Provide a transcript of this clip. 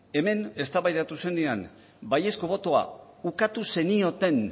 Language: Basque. hemen eztabaidatu zenean baiezko botoa ukatu zenioten